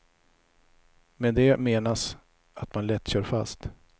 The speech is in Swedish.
Med det menas att man lätt kör fast.